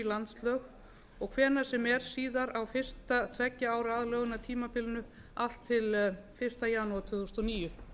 landslög og hvenær sem er síðan á fyrsta tveggja ára aðlögunartímabilinu allt til fyrsta janúar tvö þúsund og níu